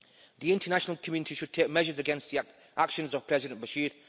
The international community should take measures against the actions of President Bashir.